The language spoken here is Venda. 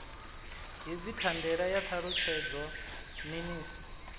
hedzi thandela ya ṱalutshedzwa minis